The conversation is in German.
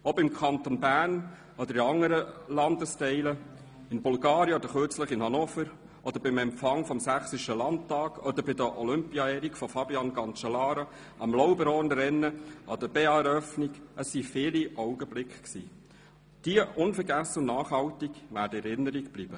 Ob im Kanton Bern oder in anderen Landesteilen, in Bulgarien oder gerade kürzlich in Hannover, beim Empfang des Sächsischen Landtags, bei der Olympia-Ehrung von Fabian Cancellara, am LauberhornRennen, an der BEA-Eröffnung – es waren viele Augenblicke, die unvergesslich und nachhaltig in Erinnerung bleiben werden.